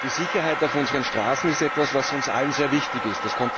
Die Sicherheit auf unseren Straßen ist etwas, was uns allen sehr wichtig ist.